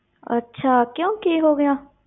ਅੱਛਾ, ਕਿਉਂ ਕੀ ਹੋ ਗਿਆ?